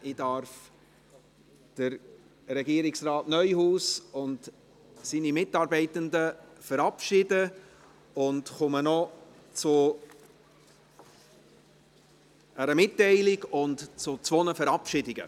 Ich darf Regierungsrat Neuhaus und seine Mitarbeitenden verabschieden und komme noch zu einer Mitteilung sowie zu zwei Verabschiedungen.